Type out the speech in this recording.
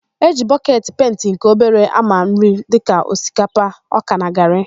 E ji bọketi penti nke obere ámà nri dịka osikapa, ọka na garị.